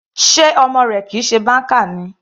Sé ọmọ rẹ kìí ṣe banker ni.